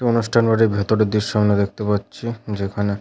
অনুষ্ঠান বাড়ির ভিতরের দৃশ্য আমরা দেখতে পাচ্ছি যেখানে--